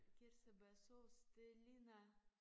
Kirsebærsauce det ligner